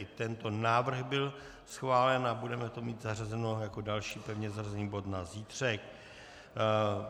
I tento návrh byl schválen a budeme to mít zařazeno jako další pevně zařazený bod na zítřek.